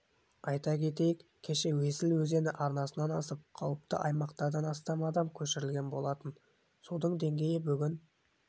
айта кетейік кеше есіл өзені арнасынан асып қауіпті аумақтардан астам адам көшірілген болатын судың деңгейі бүгін